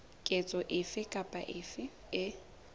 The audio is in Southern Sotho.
ketso efe kapa efe e